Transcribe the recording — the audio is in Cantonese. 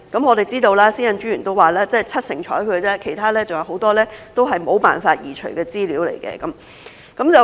我們知道，私隱專員說只有七成獲受理，其餘很多都是沒有辦法移除的資料。